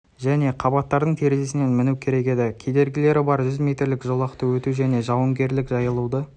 және қабаттарының терезесіне міну керек еді кедергілері бар жүз метрлік жолақты өту және жауынгерлік жайылуды